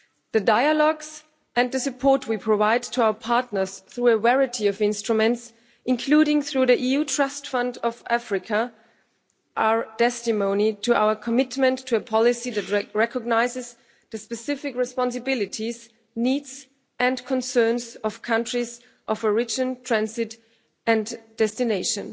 The dialogues and the support we provide to our partners through a variety of instruments, including through the EU Trust Fund for Africa, are testimony to our commitment to a policy that recognises the specific responsibilities, needs and concerns of countries of origin, transit and destination.